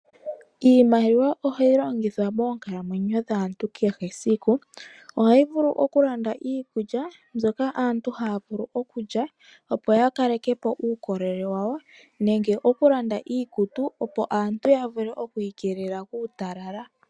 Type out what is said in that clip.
Iimaliwa oha yi longithwa moonkalamwenyo dhaantu kehe esiku. Oha yi vulu oku landa iikulya, mbyoka aantu haa vulu oku lya, opo ya kaleke po uukolele wawo, nenge oku landa iikutu, opo aantu ya vule oku ikelela kuutalala.